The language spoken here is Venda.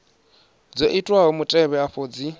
dzo itwaho mutevhe afha dzi